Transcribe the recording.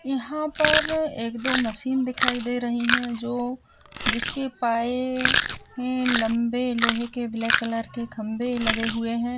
यहाँ पर एक दो मशीन दिखाई दे रही हैं जो जिसके है लम्बे लोहे के ब्लैक कलर के खम्बे लगे हुए हैं।